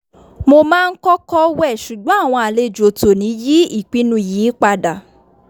mo máa ń kọ́kọ́ wẹ̀ ṣùgbọ́n àwọn àlejò tòní yí ìpinnu yìí padà